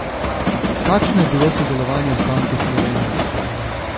Kakšno je bilo sodelovanje z Banko Slovenije?